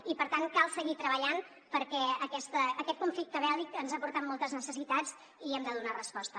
i per tant cal seguir treballant perquè aquest conflicte bèl·lic ens ha portat moltes necessitats i hi hem de donar resposta